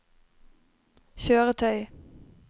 kjøretøy